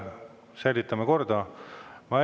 Säilitame korda!